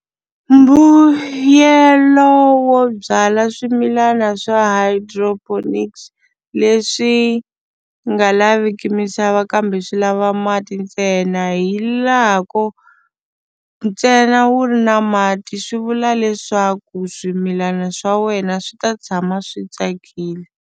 Mbuyelo wo byala swimilana swa hydroponics leswi nga laviki misava kambe swi lava mati ntsena hi laha ku ntsena wu ri na mati swi vula leswaku swimilana swa wena swi ta tshama swi tsakile.